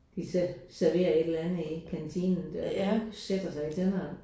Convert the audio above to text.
De serverer et eller andet i kantinen der øh sætter sig i tænderne